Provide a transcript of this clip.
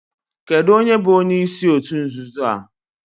Kedu onye bu onyeisi otu nzuzo a?